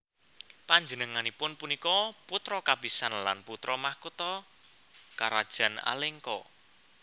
Panjenenganipun punika putra kapisan lan putra mahkota Karajan Alengka